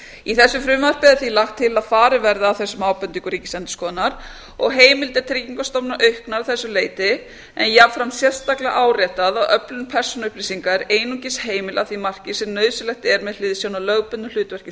í þessu frumvarpi er því lagt til að farið verði að þessum ábendingum ríkisendurskoðunar og heimildir tryggingastofnunar auknar að þessu leyti en jafnframt sérstaklega áréttað að öflun persónuupplýsinga er einungis heimil að því marki sem nauðsynlegt er með hliðsjón af lögbundnu hlutverki